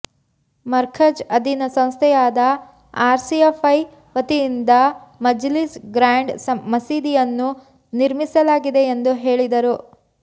ಮರ್ಕಝ್ ಅಧೀನ ಸಂಸ್ಥೆಯಾದ ಆರ್ಸಿಎಫ್ಐ ವತಿಯಿಂದ ಮಜ್ಲಿಸ್ ಗ್ರಾಂಡ್ ಮಸೀದಿಯನ್ನು ನಿರ್ಮಿಸಲಾಗಿದೆ ಎಂದು ಹೆಳಿದರು